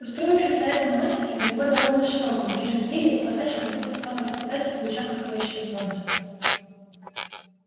устроившись на этом мостике для него довольно широком ближе к ели косач как будто стал расцветать в лучах восходящего солнца